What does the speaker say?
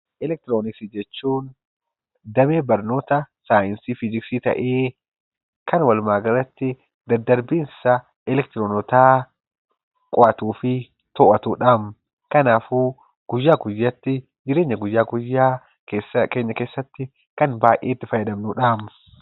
Elektirooniksii jechuun damee barnoota Saayinsii Fiiziksii ta'ee, kan waluma galatti daddarbiinsa elektiroonotaa qo'atuu fi to'atu dhaam. Kanaafuu guyyaa guyyaatti jireenya guyyaa guyyaa keenya keessatti kan baay'ee itti fayyadamnu dha.